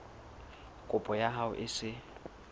kopo ya hao e se